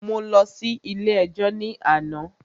Mo lọ sí ilé ẹjọ́ ní àná.